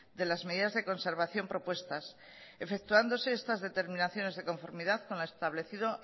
de las medidas de conservación propuestas efectuándose estas determinaciones de conformidad con lo establecido